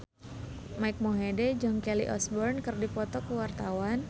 Mike Mohede jeung Kelly Osbourne keur dipoto ku wartawan